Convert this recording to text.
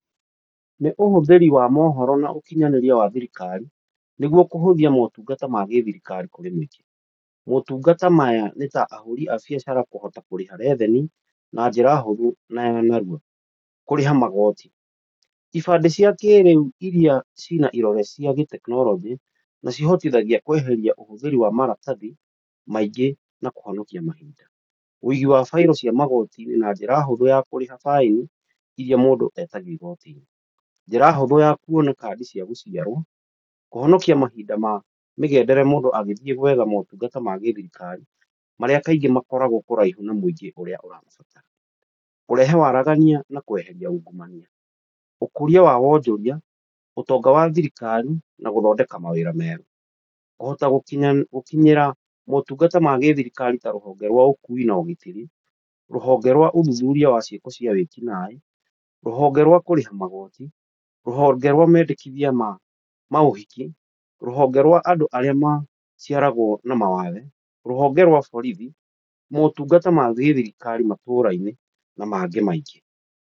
Nĩ ũhũthĩri wa mohoro na ũkinyanĩria wa thirikari nĩguo kũhũthia motungata ma gĩthirikari kũrĩ mũingĩ. Motungata maya nĩ ta ahũri a biacara kũhota kũrĩha revenue na njĩra huthũ na ya narua, kũrĩha magoti, ibandĩ cia kĩrĩu iria cirĩ na kĩrore gĩa gĩtekinoronjĩ, nacihotithagia kweheria ũhũthĩri wa maratathi maingĩ na kũhonokia mahinda. Ũigi wa bairo cia magoti-inĩ na njĩra hũthũ na kũrĩha baĩni iria mũndũ etagio igoti-inĩ. Njĩra huthũ ya kuona kandi cia gũciarwo kũhonokia mahinda na mĩgendere mũndũ agĩthiĩ gwetha motungata ma thirikari marĩa kaingĩ makoragwo kũraihu na mũingĩ ũrĩa ũrabatara. Kũrehe waragania na kweheria ungumania. Ũkũria wa wonjoria ũtonga wa thirikari na gũthondeka mawĩra mega. Kũhota gukinyĩra motungata ma thirikari ta rũhonge rwa ũkui na ũgitĩri rũhonge rwa ũthuthuria na ciĩko cia wĩkinaĩ rũhonge rwa kũrĩha magoti rũhonge rwa mendekithia ma maũhiki, rũhonge rwa andũ arĩa maciaragwo na mawathe, rũhonge rwa borithi motungata ma gĩthirikari matũra-inĩ na mangĩ maingĩ.